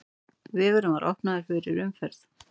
Vegurinn var opnaður fyrir umferð.